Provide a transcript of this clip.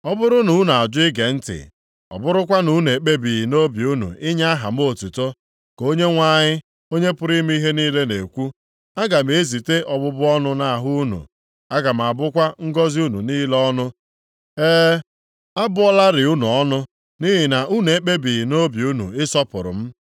Ọ bụrụ na unu ajụ ige ntị, ọ bụrụkwa na unu ekpebighị nʼobi unu inye aha m otuto,” ka Onyenwe anyị, Onye pụrụ ime ihe niile, na-ekwu, “Aga m ezite ọbụbụ ọnụ nʼahụ unu, aga m abụkwa ngọzị unu niile ọnụ. E, abụọlarị unu ọnụ, nʼihi na unu ekpebighị nʼobi unu ịsọpụrụ m.